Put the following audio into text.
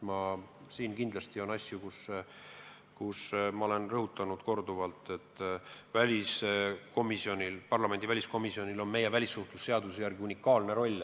Ma olen korduvalt rõhutanud, et parlamendi väliskomisjonil on meie välissuhtlemisseaduse järgi unikaalne roll.